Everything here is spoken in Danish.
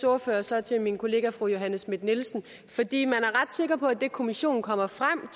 ordfører så til min kollega fru johanne schmidt nielsen fordi man er ret sikker på at det kommissionen kommer frem